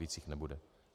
Víc jich nebude.